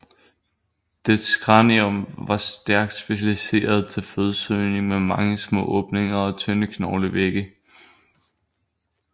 Dets kranium var stærkt specialiseret til fødesøgning med mange små åbninger og tynde knoglevægge